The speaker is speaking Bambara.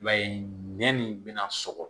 I b'a ye nɛn min bɛna sɔgɔ